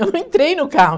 Eu não entrei no carro.